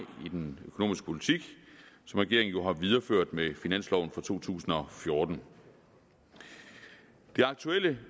i den økonomiske politik som regeringen jo har videreført med finansloven for to tusind og fjorten det aktuelle